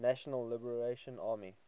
national liberation army